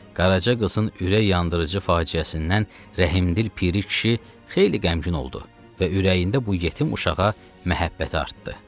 Qaraca qızın ürək yandırıcı faciəsindən rəhmdil piri kişi xeyli qəmgin oldu və ürəyində bu yetim uşağa məhəbbəti artdı.